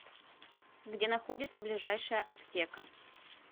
где находится ближайшая аптека